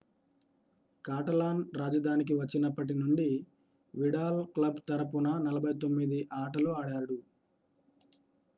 కాటలాన్-రాజధానికి వచ్చినప్పటి నుండి Vidal club తరఫున 49 ఆటలు ఆడాడు